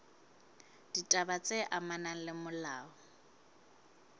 ditaba tse amanang le molao